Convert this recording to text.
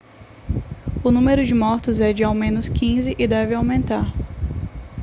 o número de mortos é de ao menos 15 e deve aumentar